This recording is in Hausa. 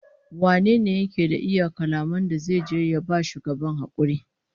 Wane ne yake da iya kalaman da zai je ya ba shugaban hakuri?